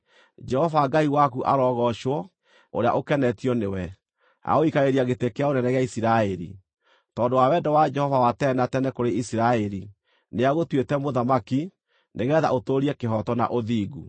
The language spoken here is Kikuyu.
Jehova Ngai waku arogoocwo, ũrĩa ũkenetio nĩwe, agagũikarĩria gĩtĩ kĩa ũnene gĩa Isiraeli. Tondũ wa wendo wa Jehova wa tene na tene kũrĩ Isiraeli, nĩagũtuĩte mũthamaki, nĩgeetha ũtũũrie kĩhooto na ũthingu.”